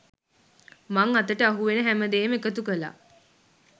මං අතට අහුවෙන හැමදේම එකතු කළා.